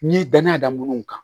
N'i ye danaya da munnu kan